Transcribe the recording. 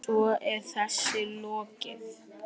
Svo er þessu lokið?